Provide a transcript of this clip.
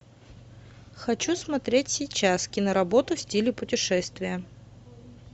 хочу смотреть сейчас киноработу в стиле путешествия